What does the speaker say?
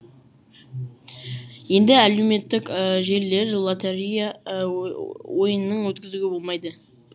енді әлеуметтік желілер лотерея ойы ойынның өткізуге болмайды